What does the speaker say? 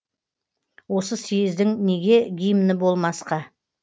осы съездің неге гимні болмасқа